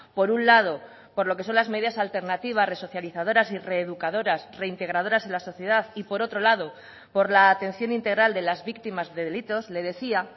por un lado por lo que son las medidas alternativas resocializadoras y reeducadoras reintegradoras en la sociedad y por otro lado por la atención integral de las víctimas de delitos le decía